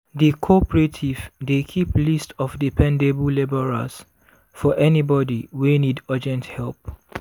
di cooperative dey keep list of dependable labourers for anybody wey need urgent help.